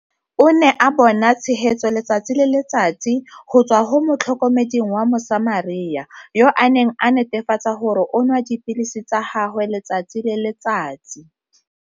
O ne a bona tshegetso letsatsi le letsatsi go tswa go motlhokomeding wa Mosamaria, yo a neng a netefatsa gore o nwa dipilisi tsa gagwe letsatsi le letsatsi